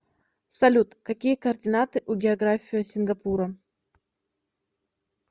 салют какие координаты у география сингапура